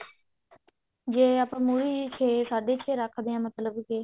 ਜੇ ਆਪਾਂ ਮੁਰ੍ਹੀ ਛੇ ਸਾਢੇ ਛੇ ਰੱਖਦੇ ਹਾਂ ਮਤਲਬ ਕਿ